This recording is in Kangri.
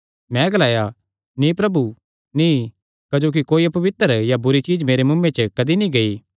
मैं ग्लाया नीं प्रभु नीं क्जोकि कोई अपवित्र या बुरी चीज्ज मेरे मुँऐ च कदी नीं गेई